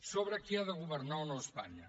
sobre qui ha de governar o no espanya